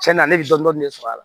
Cɛn na ale bɛ dɔni dɔni sɔr'a la